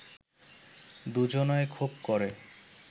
দুজনায় খুব ক’রে